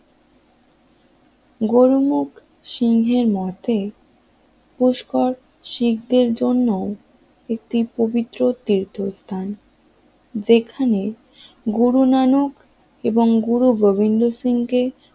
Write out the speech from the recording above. গুরুমুখ সিংহের মতে পুষ্কর শিখ দের জন্য একটি পবিত্র তীর্থস্থান যেখানে গুরু নানক এবং গুরু গোবিন্দ সিং কে